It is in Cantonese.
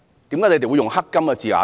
為何你們會用"黑金"這字眼呢？